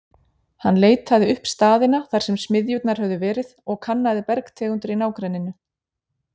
Hann leitaði upp staðina, þar sem smiðjurnar höfðu verið, og kannaði bergtegundir í nágrenninu.